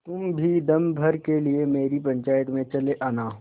तुम भी दम भर के लिए मेरी पंचायत में चले आना